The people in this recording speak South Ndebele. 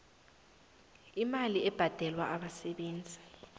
imali ebhadelwa abasebenzi